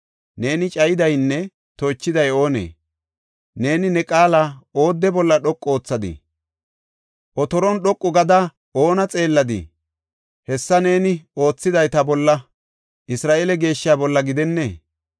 Neeni cayidaynne toochiday oonee? Neeni ne qaala oodde bolla dhoqu oothadii? otoron dhoqu gada oona xeelladii? Hessa neeni oothiday ta bolla, Isra7eele Geeshshaa bolla gidenne!